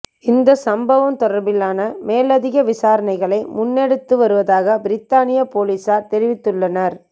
இந்த சம்பவம் தொடர்பிலான மேலதிக விசாரணைகளை முன்னெடுத்து வருவதாக பிரித்தானிய பொலிசார் தெரிவித்துள்ளனர்